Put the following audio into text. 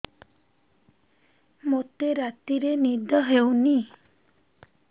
ମୋତେ ରାତିରେ ନିଦ ହେଉନି